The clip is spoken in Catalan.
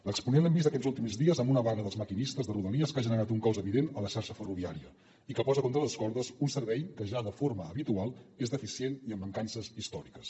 l’exponent l’hem vist aquests últims dies amb una vaga dels maquinistes de rodalies que ha generat un caos evident a la xarxa ferroviària i que posa contra les cordes un servei que ja de forma habitual és deficient i amb mancances històriques